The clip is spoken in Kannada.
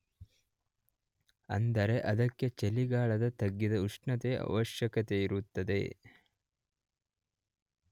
ಅಂದರೆ ಅದಕ್ಕೆ ಚಳಿಗಾಲದ ತಗ್ಗಿದ ಉಷ್ಣತೆಯ ಆವಶ್ಯಕತೆಯಿರುತ್ತದೆ.